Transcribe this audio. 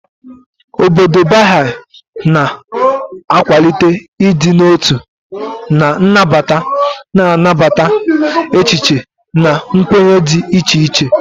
Obodo Baha'i na-akwalite ịdị n'otu na nnabata, na-anabata echiche na nkwenye dị iche iche.